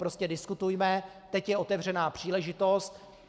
Prostě diskutujme, teď je otevřená příležitost.